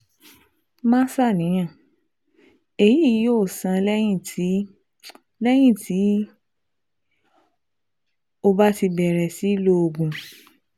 Má ṣàníyàn, èyí yóò sàn lẹ́yìn tí lẹ́yìn tí o bá ti bẹ̀rẹ̀ sí lo oògùn